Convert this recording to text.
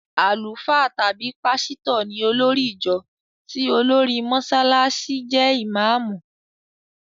Àlùfáà tàbí pásítọ̀ ní olórì ìjọ tí olórí Mọsálásí jẹ́ ìmáàmù.